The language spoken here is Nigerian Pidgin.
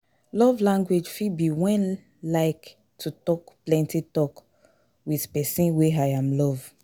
Love language fit be when like to talk plenty talk with persin wey im love